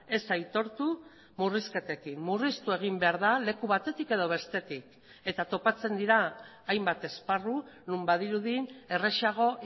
ez aitortu murrizketekin murriztu egin behar da leku batetik edo bestetik eta topatzen dira hainbat esparru non badirudi errazago